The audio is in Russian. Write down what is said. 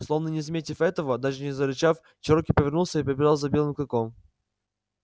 словно не заметив этого даже не зарычав чероки повернулся и побежал за белым клыком